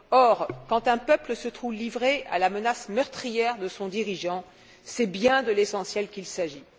Or, quand un peuple se trouve livré à la menace meurtrière de son dirigeant, c'est bien de l'essentiel qu'il s'agit.